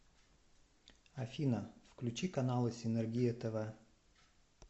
афина включи каналы синергия тв